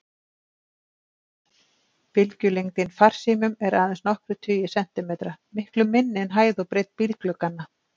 Bylgjulengdin farsímum er aðeins nokkrir tugir sentimetra, miklu minni en hæð og breidd bílglugganna.